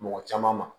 Mɔgɔ caman ma